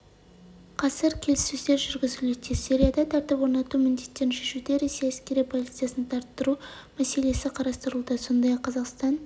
қазір келіссөздер жүргізілуде сирияда тәртіп орнату міндеттерін шешуде ресей әскери полициясын тартыру мәселесі қарастырылуда сондай-ақ қазақстан